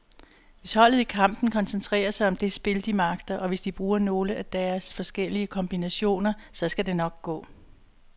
Hvis holdet i kampen koncentrerer sig om det spil, de magter, og hvis de bruger nogle af deres forskellige kombinationer, så skal det nok gå.